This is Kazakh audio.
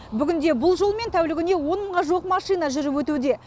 бүгінде бұл жолмен тәулігіне он мыңға жуық машина жүріп өтуде